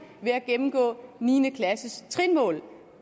ved at gennemgå niende klasses trinmål